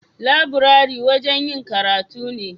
Laburare wajen yin karatu ne.